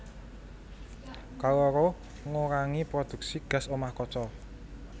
Kaloro ngurangi prodhuksi gas omah kaca